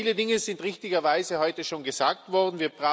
Viele Dinge sind richtigerweise heute schon gesagt worden.